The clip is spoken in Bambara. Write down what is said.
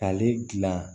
K'ale gilan